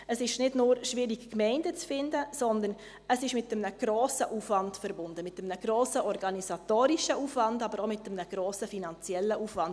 Es ist nicht bloss schwierig, Gemeinden zu finden, sondern es ist mit einem grossen Aufwand verbunden – einem grossen organisatorischen Aufwand, aber auch mit einem grossen finanziellen Aufwand.